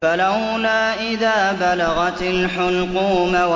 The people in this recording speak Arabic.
فَلَوْلَا إِذَا بَلَغَتِ الْحُلْقُومَ